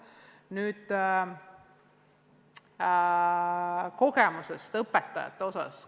Nüüd kogemusest õpetajate osas.